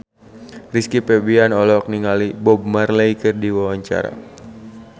Rizky Febian olohok ningali Bob Marley keur diwawancara